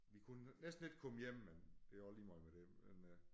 Vi kunne næsten ikke komme hjem men det også ligemeget med det men øh